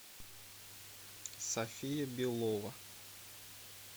софия белова